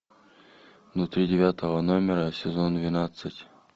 внутри девятого номера сезон двенадцать